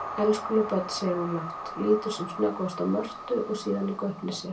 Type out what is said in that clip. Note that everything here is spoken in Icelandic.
Elskuleg börn, segir hún lágt, lítur sem snöggvast á Mörtu og síðan í gaupnir sér.